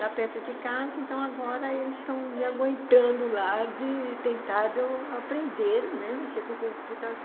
lá perto de casa, então agora eles estão me aguentando lá de tentado a aprende, né, a mexer com compu